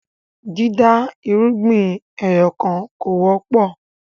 dida irúgbìn ẹyọkan kọ wọpọ